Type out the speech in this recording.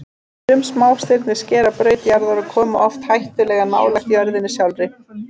Sum smástirni skera braut jarðar og koma oft hættulega nálægt jörðinni sjálfri.